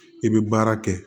I bɛ baara kɛ